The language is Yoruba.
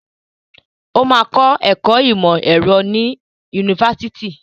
Ó máa kọ́ ẹ̀kọ́ ìmọ̀ ẹ̀rọ ní yunifásitì.